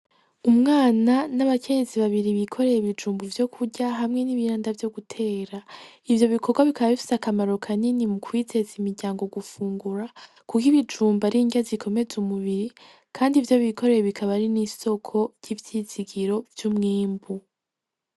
Umwana n'abakenyezi babiri bikoreye ibijumbu vyo kurya hamwe n'ibindi vyo gutera, ivyo bikogwa bikaba bifise akamaro kanini mu kwiteza imiryango gufungura kuko ibijumbu ari indya zikomeza umubiri kandi ivyo bikoreye bikaba ari n'isoko ry'ivyizigiro vy'umwimbu.